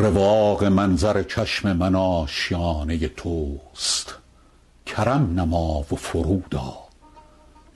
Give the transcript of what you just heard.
رواق منظر چشم من آشیانه توست کرم نما و فرود آ